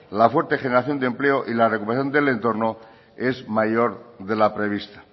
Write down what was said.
la fuerte generación de empleo y la recuperación del entorno es mayor de la prevista